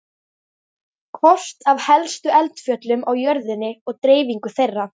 Kort af helstu eldfjöllum á jörðinni og dreifingu þeirra.